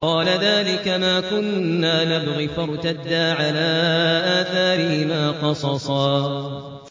قَالَ ذَٰلِكَ مَا كُنَّا نَبْغِ ۚ فَارْتَدَّا عَلَىٰ آثَارِهِمَا قَصَصًا